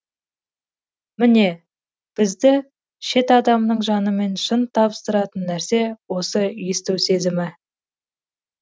міне бізді шет адамның жанымен шын табыстыратын нәрсе осы есту сезімі